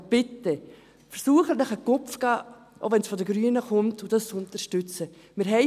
Aber bitte, versuchen Sie sich einen Ruck zu geben, auch wenn es von den Grünen kommt, und unterstützen Sie das.